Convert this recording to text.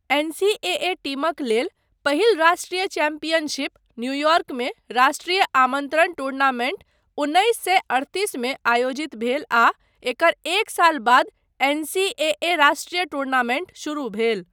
NCAA. टीमक लेल पहिल राष्ट्रीय चैम्पियनशिप, न्यूयॉर्कमे राष्ट्रीय आमन्त्रण टूर्नामेण्ट उन्नैस सए अड़तिसमे आयोजित भेल आ एकर एक साल बाद एन.सी.ए.ए. राष्ट्रीय टूर्नामेण्ट शुरू भेल।